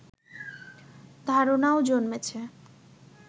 ধারনাও জন্মেছে